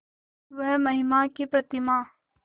वह महिमा की प्रतिमा